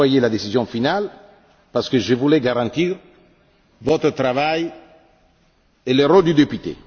J'ai reporté la décision finale parce que je voulais garantir votre travail et le rôle du député.